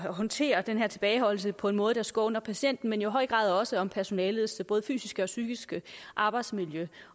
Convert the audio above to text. håndtere den her tilbageholdelse på en måde der skåner patienten men jo i høj grad også om personalets både fysiske og psykiske arbejdsmiljø